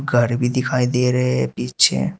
घर भी दिखाई दे रहे है पीछे।